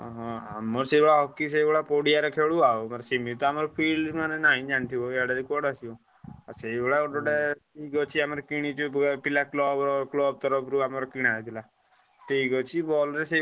ହଁ ଆମର ସେଇଭଳିଆ ହକି ସେଇଭଳିଆ ଖେଳୁ ଆଉ। ମାନେ ସେମିତି ତ ଆମର field ନାହିଁ ଜାଣିଥିବ ଆଡେ କୁଆଡେ ଆସିବ। ସେଇଭଳିଆ ଗୋଟେ ଗୋଟେ club ତରଫ ରୁ ଆମର କିନ ହେଇଥିଲା stick ଅଛି ball ରେ।